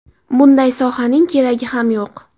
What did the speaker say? Bunday sohaning keragi ham yo‘q.